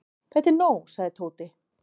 Þetta er nóg sagði Tóti.